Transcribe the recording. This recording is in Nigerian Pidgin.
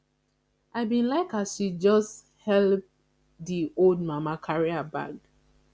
i bin like as she just helep di old mama carry her bag